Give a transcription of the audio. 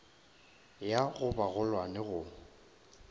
ya go ba bagolwane go